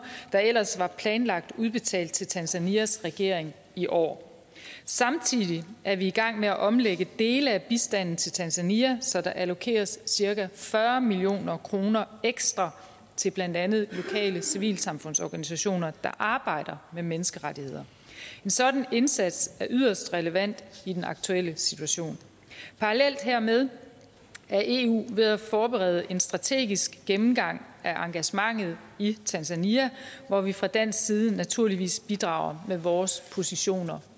der ellers var planlagt udbetalt til tanzanias regering i år samtidig er vi i gang med at omlægge dele af bistanden til tanzania så der allokeres cirka fyrre million kroner ekstra til blandt andet lokale civilsamfundsorganisationer der arbejder med menneskerettigheder en sådan indsats er yderst relevant i den aktuelle situation parallelt hermed er eu ved at forberede en strategisk gennemgang af engagementet i tanzania hvor vi fra dansk side naturligvis bidrager med vores positioner